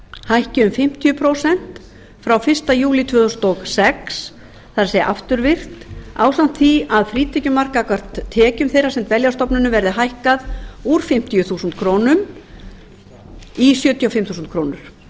hækki um fimmtíu prósent frá frá fyrsta júlí tvö þúsund og sex það er afturvirkt ásamt því að frítekjumark gagnvart tekjum þeirra sem dvelja á stofnunum verði hækkað úr fimmtíu þúsund krónur í sjötíu og fimm þúsund krónur þannig